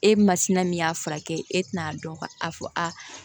E masina min y'a furakɛ e tɛna dɔn ka a fɔ a